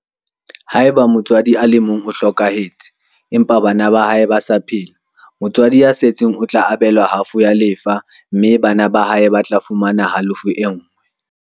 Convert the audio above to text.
Haeba motswadi a le mong o hlokahetse, empa bana ba hae ba sa phela, motswadi ya setseng o tla abelwa halofo ya lefa mme bana ba hae ba tla fumana halofo e nngwe.